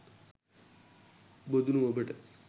බොදුනු ඔබට